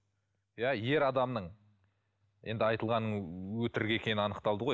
иә ер адамның енді айтылғаны өтірік екені анықталды ғой